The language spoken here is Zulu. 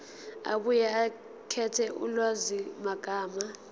abuye akhethe ulwazimagama